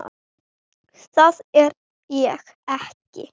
Það er ég ekki.